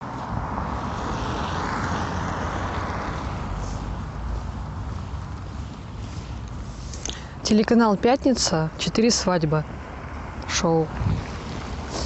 телеканал пятница четыре свадьбы шоу